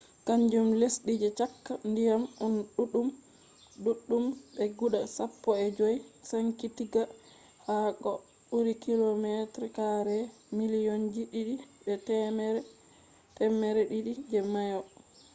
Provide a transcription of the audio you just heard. kanjum lesdi je cakka ndiyam on ɗuɗɗum be guda sappo e jowey sankitigga ha ko ɓuri km2 miliyonji didi be temmere didi je mayo